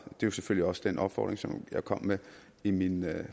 det var selvfølgelig også den opfordring jeg kom med i min